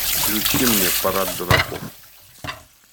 включи мне парад дураков